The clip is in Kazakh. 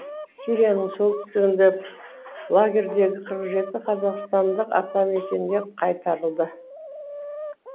сирияның солтүстігінде лагерьлердегі қырық жеті қазақстандық атамекенге қайтарылды